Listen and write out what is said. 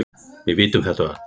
Við vitum þetta öll.